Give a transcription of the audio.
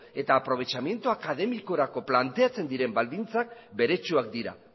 eta aprovechamiento académicorako planteatzen diren baldintzak beretsuak dira